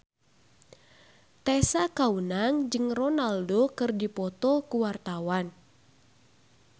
Tessa Kaunang jeung Ronaldo keur dipoto ku wartawan